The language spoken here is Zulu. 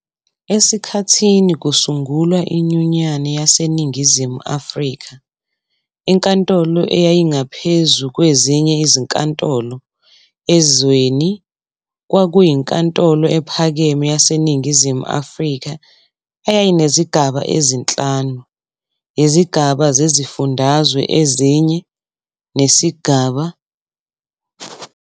Esikhathini kusungulwa iNyunyane YaseNingizimu Afrika, inkatolo eyayingaphezu kwezinye izinkantolo ezweni kwakuyi Ntantolo ePhakeme YaseNingizimu Afrika eyayinezigaba ezinhlanu- izigaba zezifundazwe ezine nesigaba sokudlulisa amacala.